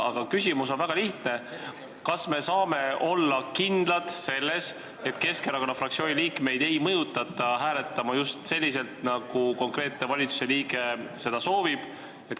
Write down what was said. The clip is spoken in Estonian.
Aga küsimus on väga lihtne: kas me saame olla kindlad selles, et Keskerakonna fraktsiooni liikmeid ei mõjutata hääletama just selliselt, nagu konkreetne valitsuse liige seda soovib?